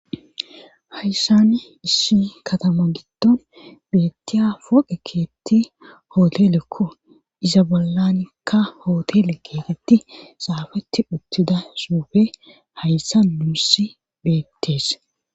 Hayssan issi katama giddon beettiya poqe keetti hootelekko iza bollanikka hootele keetetti saafeti uttida suufe hayssa nuussi beettees